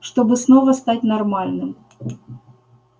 чтобы снова стать нормальным